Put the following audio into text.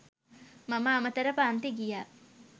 මම අමතර පන්ති ගියා.